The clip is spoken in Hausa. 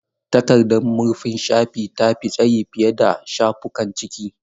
Takardar murfin shafi ta fi tsayi fiye da shafukan ciki.